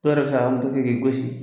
Dɔw yɛrɛ bɛ se k'a ka moto kɛ k'i gosi